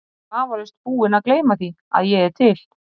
Hann er vafalaust búinn að gleyma því, að ég er til.